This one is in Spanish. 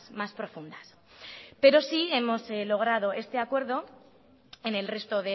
más profundas pero sí hemos logrado este acuerdo en el resto